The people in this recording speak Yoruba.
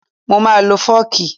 Mo máa lo fọ́ọ̀kì